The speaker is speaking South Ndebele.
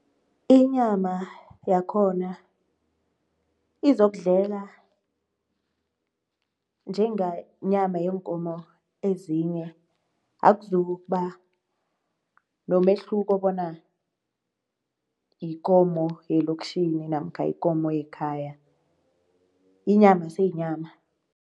Inyama yakhona izokudleka njengenyama yeenkomo ezinye. Akuzukuba nomehluko bona yikomo yelokitjhini namkha yikomo yekhaya, inyama seyinyama.